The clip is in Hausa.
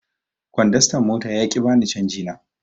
Kondastan mota ya ƙi ya bani canji na.